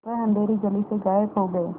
वह अँधेरी गली से गायब हो गए